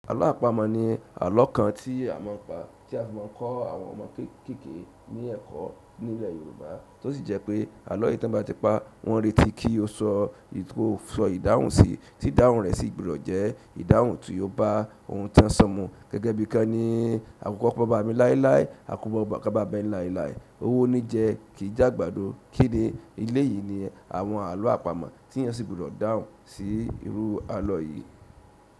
Àlọ́ àpamọ̀ ní àlọ́ kan tí a máa ń pa, tí a fi máa ń kọ́ àwọn ọmọ kekeke ní ẹ̀kọ́ ní ilẹ̀ Yorùbá, tó sì jẹ́ pé àlọ́ yìí tí wọ́n bá ti pa, wọ́n retí kí ó sọ ìdáhùn sí, sí ìdáhùn rẹ̀ sì gbudọ̀ jẹ́ ìdáhùn tí yóò bá ohun tán ṣọ mu. Gẹ́gẹ́ bí i kan ní "àkùkọ baba mi láíláí, àkùkọ kanbaba láíláí, owó ní jẹ, kì í jàgbàdo kí ni?" Eleyìí ni àwọn àlọ́ àpamọ́ tí eeyan sì gbudọ̀ dáhùn sí irú àlọ́ yìí.